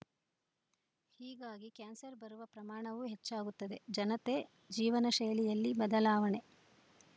ಹೀಗಾಗಿ ಕ್ಯಾನ್ಸರ್‌ ಬರುವ ಪ್ರಮಾಣವೂ ಹೆಚ್ಚಾಗುತ್ತದೆ ಜನತೆ ಜೀವನ ಶೈಲಿಯಲ್ಲಿ ಬದಲಾವಣೆ